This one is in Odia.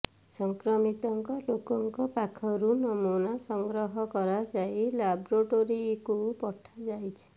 ସଂକ୍ରମିତ ଲୋକଙ୍କ ପାଖରୁ ନମୁନା ସଂଗ୍ରହ କରାଯାଇ ଲାବୋରେଟୋରୀକୁ ପଠାଯାଇଛି